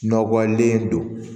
Nɔgɔlen don